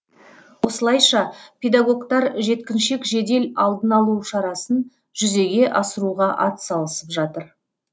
осылайша педагогтар жеткіншек жедел алдын алу шарасын жүзеге асыруға атсалысып жатыр